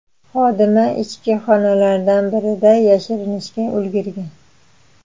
Xodima ichki xonalardan birida yashirinishga ulgurgan.